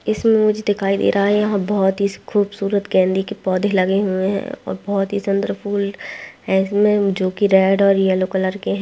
इसमे मुझे दिखाई दे रहा है यहाँ बोहोत ही खूबसूरत गेंदे के पौधे लगे हुए है और बोहोत ही सुंदर फूल है इसमे जो की रेड और येल्लो कलर के है।